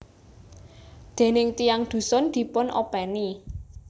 Déning tiyang dhusun dipun openi